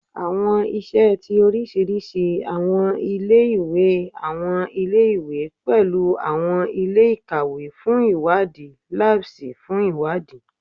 Awọn iṣẹ ti orisirisi awọn ile-iwe awọn ile-iwe pẹlu awọn ile-ikawe fun iwadi, labs fun iwadi